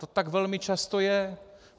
To tak velmi často je.